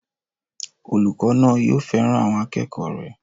Olùkọ́ náà yóò fẹ́ràn àwọn akẹ́kọ̀ọ́ rẹ̀